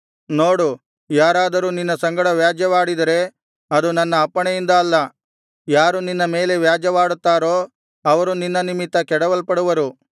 ನೋಡು ಯಾರಾದರೂ ನಿನ್ನ ಸಂಗಡ ವ್ಯಾಜ್ಯವಾಡಿದರೆ ಅದು ನನ್ನ ಅಪ್ಪಣೆಯಿಂದ ಅಲ್ಲ ಯಾರು ನಿನ್ನ ಮೇಲೆ ವ್ಯಾಜ್ಯವಾಡುತ್ತಾರೋ ಅವರು ನಿನ್ನ ನಿಮಿತ್ತ ಕೆಡವಲ್ಪಡುವರು